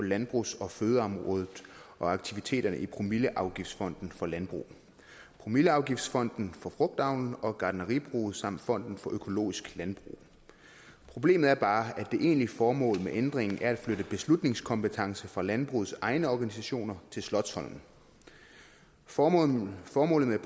landbrugs og fødevareområdet og aktiviteterne i promilleafgiftsfonden for landbrug promilleafgiftsfonden for frugtavlen og gartneribruget samt fonden for økologisk landbrug problemet er bare at det egentlige formål med ændringen er at flytte beslutningskompetencen fra landbrugets egne organisationer til slotsholmen formålet formålet